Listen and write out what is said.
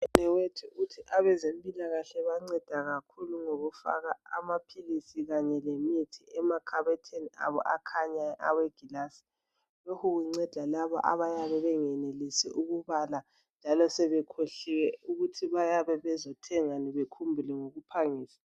udadewethu uthi abezempilakahle banceda kakhulu ngokufaka amaphilisi kanye lemithi emakhabothini abo akhanyayo awegilazi lokhu kunceda labo abayabe bengenelisi ukubala njalo sebekhohliwe ukuthi bayabe bezothengani bekhumbule ngokuphangisa